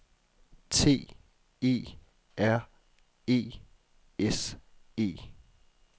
T E R E S E